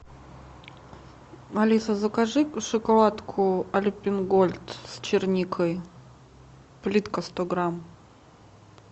алиса закажи шоколадку альпен гольд с черникой плитка сто грамм